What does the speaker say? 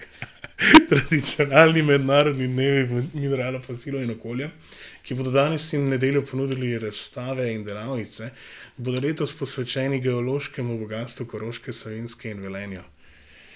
Tradicionalni mednarodni dnevi mineralov, fosilov in okolja, ki bodo danes in v nedeljo ponudili razstave in delavnice, bodo letos posvečeni geološkemu bogastvu Koroške, Savinjske in Velenja.